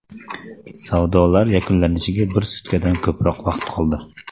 Savdolar yakunlanishiga bir sutkadan ko‘proq vaqt qoldi.